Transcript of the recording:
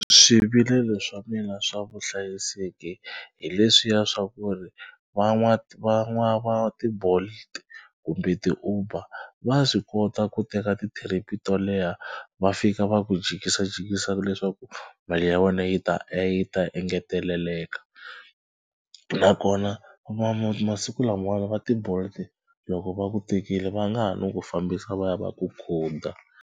Swivilelo swa mina swa vuhlayiseki hi leswiya swa ku ri va ti-Bolt kumbe ti-Uber va swi kota ku teka ti-trip to leha va fika va ku jikisajikisa leswaku mali ya wena yi ta e yi ta engeteleleka nakona masiku lamawani va ti-Bolt loko va ku tekile va nga ha no ku fambisa va ya va ku khuda.